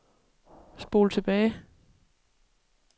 spol tilbage